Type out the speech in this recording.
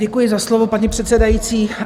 Děkuji za slovo, paní předsedající.